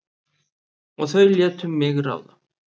Og þau létu mig ráða.